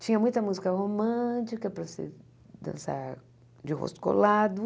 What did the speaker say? Tinha muita música romântica para você dançar de rosto colado.